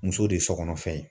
Muso de ye sokɔnɔfɛn ye